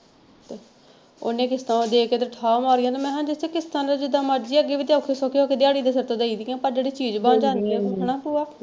ਓਹਨੇ ਕਿਸਤਾਂ ਦੇ ਕੇ ਤੇ ਠਾ ਮਾਰੀਆਂ ਤੇ ਮੈਂ ਕਿਹਾ ਜੇਸੇ ਕਿਸ਼ਤਾਂ ਤੇ ਜਿਦਾਂ ਮਰਜੀ ਆ ਅੱਗੇ ਵੀ ਔਖੇ ਸੋਖੇ ਹੋ ਕੇ ਦਿਹਾੜੀ ਦੇ ਸਿਰ ਤੇ ਦੇਈਦੀਆਂ ਪਰ ਜਿਹੜੀ ਚੀਜ਼ ਬਣ ਜਾਂਦੀ ਆ ਹੈਨਾ ਤੇ ਉਹ,